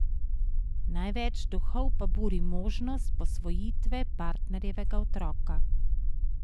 Največ duhov pa buri možnost posvojitve partnerjevega otroka.